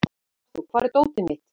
Arthur, hvar er dótið mitt?